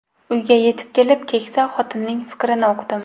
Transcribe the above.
Uyga yetib kelib, keksa xotinning fikrini uqdim.